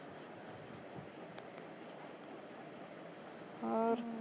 ਹੋਰ